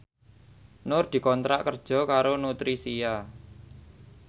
Nur dikontrak kerja karo Nutricia